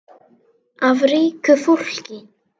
Og strauk burtu tár.